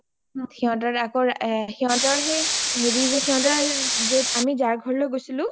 সিহতৰ আকৌ সিহতৰ সেই হেৰি সিহতৰ আমি যাৰ ঘৰলৈ গৈছিলো